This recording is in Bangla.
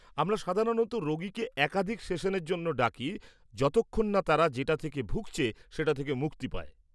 -আমরা সাধারণত রোগীকে একাধিক সেশনের জন্য ডাকি যতক্ষণ না তারা যেটা থেকে ভুগছে সেটা থেকে মুক্তি পায়।